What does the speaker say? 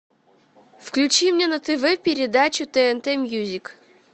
включи мне на тв передачу тнт мьюзик